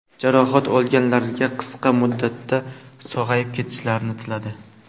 Jarohat olganlarga qisqa muddatda sog‘ayib ketishlarini tiladi.